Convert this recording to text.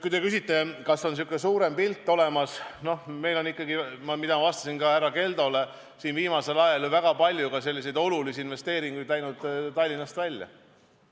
Kui te küsite, kas meil on sihuke suurem pilt olemas, siis meil on, nagu vastasin ka härra Keldole, viimasel ajal läinud ju väga palju olulisi investeeringuid Tallinnast välja.